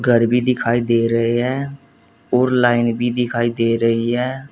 घर भी दिखाई दे रहे है और लाइन भी दिखाई दे रही है।